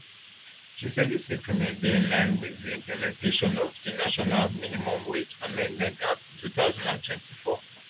she say dis increment dey in line wit di implementation of di national minimum wage amendment act two thousand and twenty-four